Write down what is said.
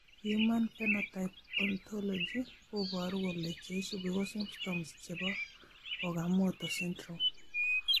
Human phenotype ontology koboru kole cheisubi ko symptoms chebo okamoto syndrome